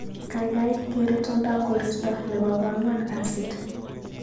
Gaigai geer itondab koristo nebo ko angwan kasit